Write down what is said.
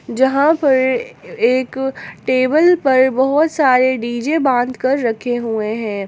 जहां पर एक टेबल पर बहुत सारे डी_जे बांध कर रखे हुए हैं।